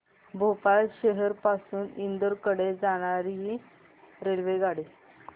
भोपाळ शहर पासून इंदूर कडे जाणारी रेल्वेगाडी